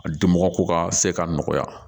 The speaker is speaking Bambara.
A di mɔgɔ ko ka se ka nɔgɔya